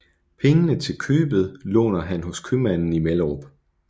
Pengene til købet låner han hos købmanden i Mellerup